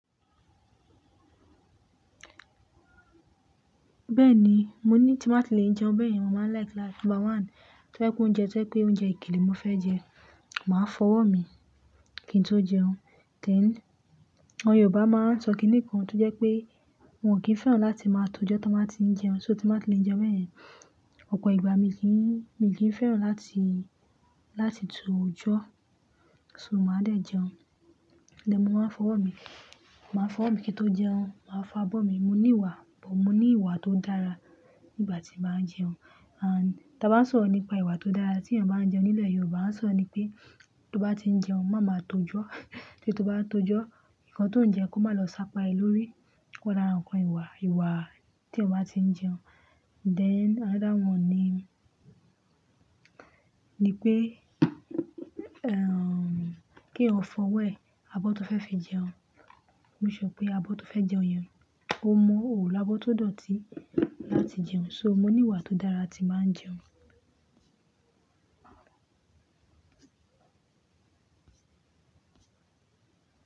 Bẹ́ẹ̀ni, mo ní ti má tí lè jẹun bẹ́ẹ̀ yẹn. Mo má ń like like number one, tó fẹ́ kun oúnjẹ tó jẹ́ pé oúnjẹ ìkele mo fẹ́ jẹ, màá fọwọ́ mi kí n tó jẹun. Then, àwọn Yorùbá máa ń sọ kiní kan tó jẹ́ pé wọn kì í fẹ́ràn láti máa to jọ́ tí wọ́n bá tí ń jẹun. So tí má tí lè jẹun bẹ́ẹ̀ yẹn, ọ̀pọ̀ ìgbà mi kì í, mi kì í fẹ́ràn láti, láti to jọ́. So màá dé jẹun lẹ́ẹ̀ mó máa ń fọwọ́ mi. Màá fọwọ́ mi kí n tó jẹun, màá fá abọ́ mi. Mo ní ìwà, bọ̀ mo ní ìwà tó dára nígbà tí màá jẹun. And tí a bá sọ̀rọ̀ nípa ìwà tó dára tí èèyàn bá ń jẹun nílẹ̀ Yorùbá, a sọ ní pé tó bá tí ń jẹun, má máa tó jọ́. Tí tó bá tó jọ́, nǹkan tó ń jẹ́ kó má lọ sápa ẹ lórí. Kó dára ǹkan ìwà, ìwà tí èèyàn bá tí ń jẹun. Then another one ni, ni pé, èm kí èyán fọwọ́ ẹ, abọ́ tó fẹ́ fi jẹun. Make sure pé abọ́ tó fẹ́ jẹun yẹn, ó mọ òlo ábọ́ tó dọ̀tí láti jẹun. So mo ní ìwà tó dára tí màá ń jẹun.